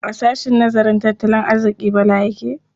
A sahshen nazarin tattalin arziƙi Bala yake yi.